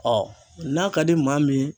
n'a ka di maa min ye